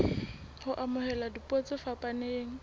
ho amohela dipuo tse fapaneng